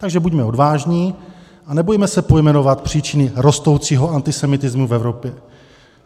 Takže buďme odvážní a nebojme se pojmenovat příčiny rostoucího antisemitismu v Evropě.